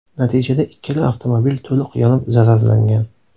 Natijada ikkala avtomobil to‘liq yonib zararlangan.